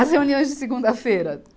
As reuniões de segunda-feira.